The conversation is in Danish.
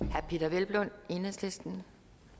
herre peder hvelplund enhedslisten